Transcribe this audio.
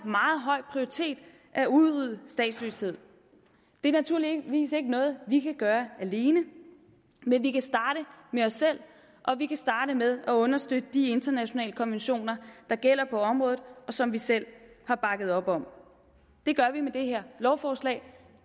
meget høj prioritet at udrydde statsløshed det er naturligvis ikke noget vi kan gøre alene men vi kan starte med os selv og vi kan starte med at understøtte de internationale konventioner der gælder på området og som vi selv har bakket op om det gør vi med det her lovforslag